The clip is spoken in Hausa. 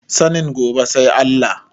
Sanin gobe sai Allah.